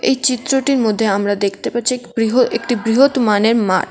এই চিত্রটির মধ্যে আমরা দেখতে পারছি এক বৃহৎ একটি বৃহৎ মানের মাঠ।